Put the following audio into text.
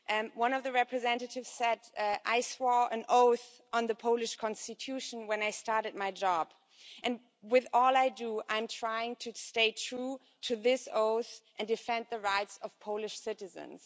One of the representatives said I swore an oath on the Polish Constitution when I started my job, and with all I do I'm trying to stay true to this oath and defend the rights of Polish citizens'.